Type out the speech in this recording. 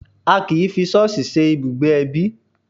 A kì í fi ṣọ́ọ̀ṣì ṣe ibùgbé ẹbí